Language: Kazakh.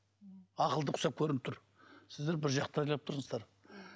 ақылды құсап көрініп тұр сіздер біржақты ойлап тұрсыздар